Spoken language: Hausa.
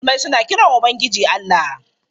Musulmai suna kiran Ubangiji Allah.